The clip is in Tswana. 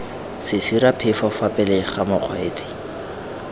sesiraphefo fa pele ga mokgweetsi